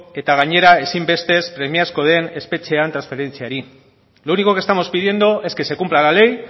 eta gainera ezinbestez premiazko den espetxeen transferentziari lo único que estamos pidiendo es que se cumpla la ley